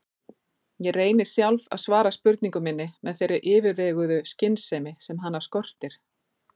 Ég reyni sjálf að svara spurningu minni með þeirri yfirveguðu skynsemi sem hana skortir.